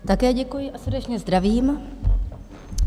Také děkuji a srdečně zdravím.